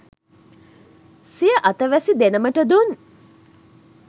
සිය අතවැසි දෙනමට දුන්